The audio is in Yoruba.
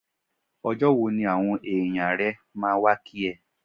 Ọjọ́ wo ni àwọn èèyàn rẹ máa wá kí ẹ?